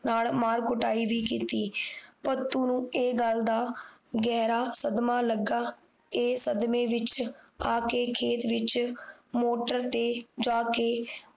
ਨਾਲ ਮਾਰ ਕੁਟਾਈ ਵੀ ਕੀਤੀ ਭਤੁ ਨੂੰ ਇਹ ਗੱਲ ਦਾ ਗਹਿਰਾ ਸਦਮਾ ਲੱਗਾ ਇਹ ਸਦਮੇ ਵਿੱਚ ਆ ਕ ਖੇਤ ਵਿੱਚ ਮੋਟਰ ਤੇ ਜਾ ਕ